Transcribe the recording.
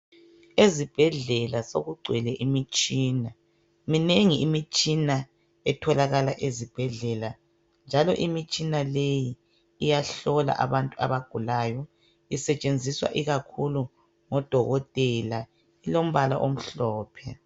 Ezibhedlela sokugcwele imitshina .Minengi imitshina etholakala ezibhedlela .Njalo imitshina leyi iyahlola abantu abagulayo .Isetshenziswa ikakhulu ngodokotela .Ilombala omhlophe .